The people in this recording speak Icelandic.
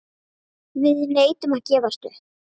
Við neitum að gefast upp.